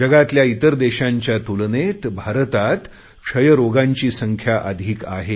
जगातल्या इतर देशांच्या तुलनेत भारतात क्षयरोग्यांनी संख्या अधिक आहे